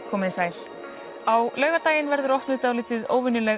komið þið sæl á laugardaginn verður opnuð dálítið óvenjuleg